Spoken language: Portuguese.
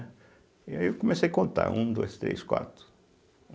E aí eu comecei a contar, um, dois, três, quatro.